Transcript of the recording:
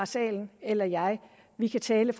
salen eller jeg vi kan tale